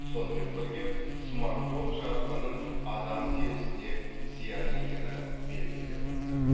сонымен бірге смартфон жарығының адам терісіне зиян екені белгілі болды